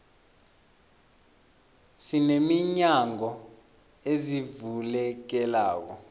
sine minyango ezivulekelako